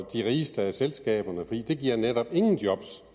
de rigeste af selskaberne fordi det giver netop ingen job